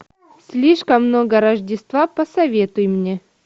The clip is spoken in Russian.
слишком много рождества посоветуй мне